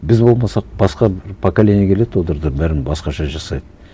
біз болмасақ басқа бір поколение келеді олар да бәрін басқаша жасайды